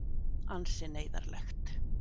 Ansi neyðarlegt.